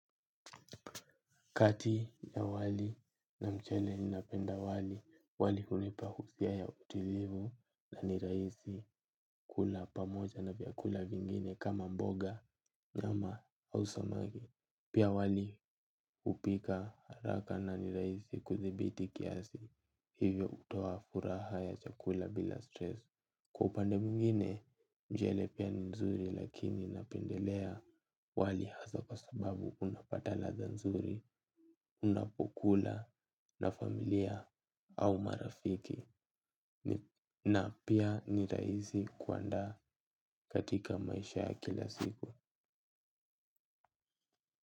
Kati ya wali na mchele ninapenda wali, wali hunipa husia ya utilivu na niraisi kula pamoja na vyakula vingine kama mboga, nyama, hau samagi. Pia wali upika haraka na niraisi kudhibiti kiasi, hivyo utoa furaha ya chakula bila stress. Kwa upande mwingine mchele pia nzuri lakini napendelea wali hasa kwa sababu unapata ladha nzuri, unapokula na familia au marafiki na pia ni rahisi aizi kuandaa katika maisha ya kila siku.